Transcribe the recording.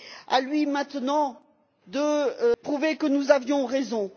À lui maintenant de prouver que nous avions raison.